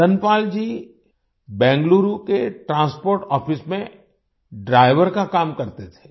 धनपाल जी बेंगलुरु के transport office में driver का काम करते थे